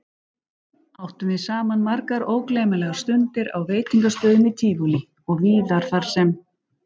Áttum við saman margar ógleymanlegar stundir á veitingastöðum í Tívolí og víðar þarsem